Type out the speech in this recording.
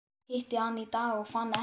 Hitti hann í dag og fann ekkert.